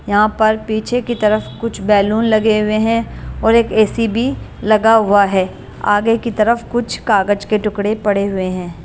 यहां पर पीछे की तरफ कुछ बैलून लगे हुए हैं और एक एसी भी लगा हुआ है आगे की तरफ कुछ कागज के टुकड़े पड़े हुए हैं ।